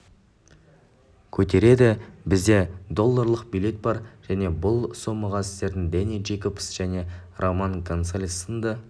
көтереді бізде долларлық билет бар және бұл сомаға сіздер дэнни джейкобс және роман гонсалес сынды